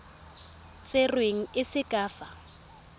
tserweng e se ka fa